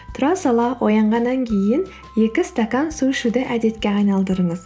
тұра сала оянғаннан кейін екі стакан су ішуді әдетке айналдырыңыз